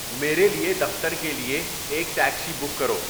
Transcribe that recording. میرے لیے دفتر کے لیے ایک ٹیکسی بک کرو